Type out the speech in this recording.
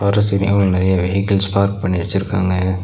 ற்ற சரியாவு நெறையா vehicles park பண்ணி வச்சிருக்காங்க.